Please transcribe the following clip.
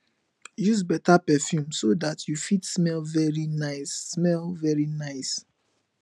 use better perfume so dat you fit smell very nice smell very nice